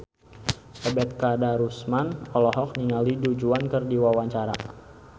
Ebet Kadarusman olohok ningali Du Juan keur diwawancara